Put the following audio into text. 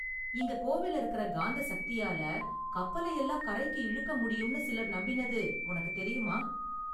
இங்க கோவில்ல இருக்குற காந்த சக்தியால கப்பலையெல்லாம் கரைக்கு இழுக்க முடியும்னு சிலர் நம்பினது உனக்கு தெரியுமா?